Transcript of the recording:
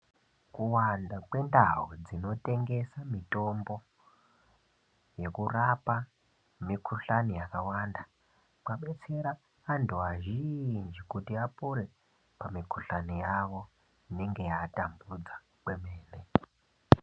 Kuwanda kwendau dzinotengesa mitombo nekurapa mikhuhlani yakawanda kwabetsera antu azhinji kuti apore pamikhuhlani yawo inenge yaatambudza kwemene.